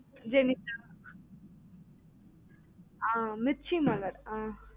Jenitha ஆ ஆஹ் மிர்ச்சிமலர் ஆஹ்